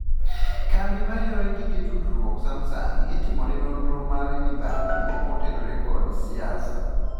Kambi mar yor gige tudruok Samsung itimone nonro mar mibadhi motenore kod siasa